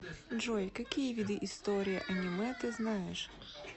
джой какие виды история аниме ты знаешь